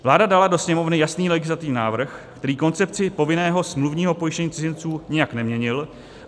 Vláda dala do Sněmovny jasný legislativní návrh, který koncepci povinného smluvního pojištění cizinců nijak neměnil.